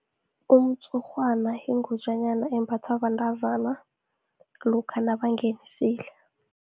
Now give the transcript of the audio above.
Umtshurhwana yingutjanyana embathwa bantazana, lokha nabangenisile.